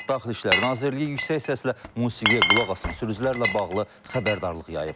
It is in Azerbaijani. Daxili İşlər Nazirliyi yüksək səslə musiqiyə qulaq asan sürücülərlə bağlı xəbərdarlıq yayıb.